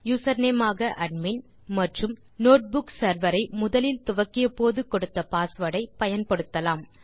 username ஆக admin மற்றும் notebook serverஐ முதலில் துவக்கியபோது கொடுத்த பாஸ்வேர்ட் ஐ பயன்படுத்தலாம்